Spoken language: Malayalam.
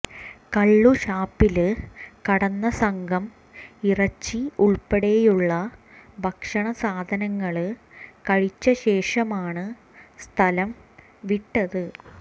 കള്ളുഷാപ്പില് കടന്ന സംഘം ഇറച്ചി ഉള്പ്പെടെയുള്ള ഭക്ഷണ സാധനങ്ങള് കഴിച്ച ശേഷമാണ് സ്ഥലം വിട്ടത്